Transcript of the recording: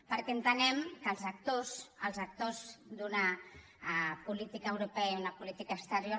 perquè entenem que els actors els actors d’una política europea i d’una política exterior